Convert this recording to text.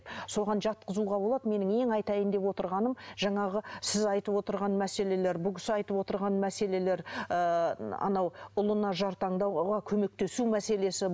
соған жатқызуға болады менің ең айтайын деп отырғаным жаңағы сіз айтып отырған мәселелер бұл кісі айтып отырған мәселелер ыыы анау ұлына жар таңдауға көмектесу мәселесі